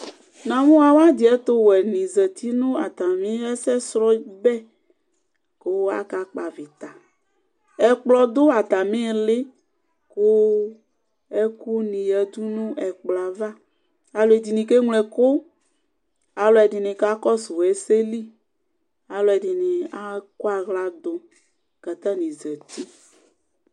Nʋmʋ awʋ adi ɛtʋwɛ nʋ zati nʋ atami ɛsɛsrɔ bɛ kʋ akakpɔ avita ɛkplɔ dʋ atami ili kʋ ɛkʋni yadʋ nʋ ɛkplɔ yɛ ava alʋ ɛdini ke ŋlo ɛkʋ alʋ ɛdini kakɔsʋ ɛseli akʋ ɛdini akɔ aɣladʋ kʋ atani zati